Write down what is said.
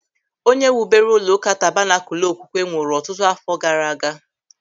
Onye wubere ụlọụka Tabanakul Okwukwe nwụrụ ọtụtụ àfọ́ gaara aga.